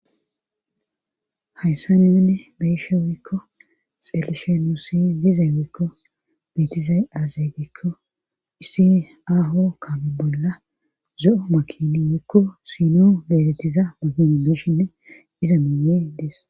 hayssa nemenne beyishe wiikko xelishe nusi dizay wiikko betizay aazegikko issi aaho kabe bolla zo7o makini wiikko sinoo deelettiza makini beshinne iza miyee dees